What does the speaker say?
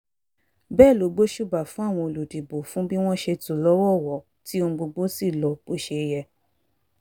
bẹ́ẹ̀ ló gbóṣùbà fún àwọn olùdìbò fún bí wọ́n ṣe tò lọ́wọ̀ọ̀wọ́ tí ohun gbogbo sì lọ bó ṣe yẹ